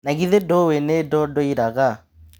Nagĩthe ndũĩ nĩ ndodoiraga.